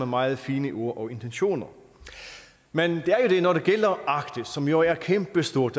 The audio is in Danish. meget fine ord og intentioner men når det gælder arktis som jo er kæmpe stort